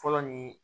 Fɔlɔ nin